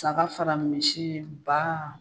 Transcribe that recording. Saga fara misi , ba,